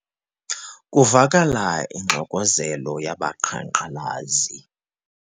Kuvakala ingxokozelo yabaqhankqalazi.